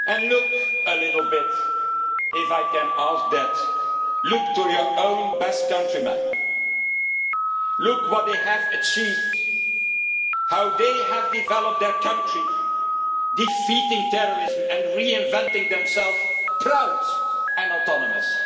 Look a little bit if I can ask that to your own Basque countrymen. Look at what they have achieved, how they have developed their country, defeating terrorism and reinventing themselves, proud and autonomous.